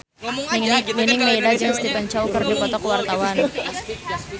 Nining Meida jeung Stephen Chow keur dipoto ku wartawan